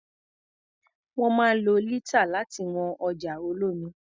Wọ́n máa ń lo lítà láti wọn ọjà olómi.